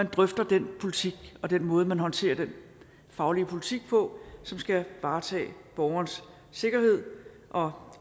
at drøfte den politik og den måde man håndterer den faglige politik på som skal varetage borgerens sikkerhed og